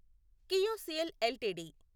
KIOCL LTD